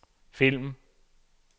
film